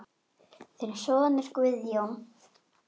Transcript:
Þinn sonur Guðjón.